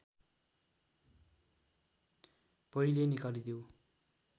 पहिले निकालिदेऊ